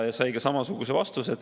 Ja sai ka samasuguse vastuse.